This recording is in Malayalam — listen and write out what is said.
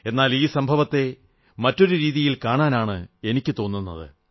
എന്നാൽ ഈ സംഭവത്തെ മറ്റൊരു രീതിയിൽ കാണാനാണ് എനിക്കു തോന്നുന്നത്